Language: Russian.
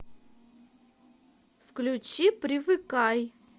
включи привыкай